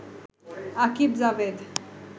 Akib Javed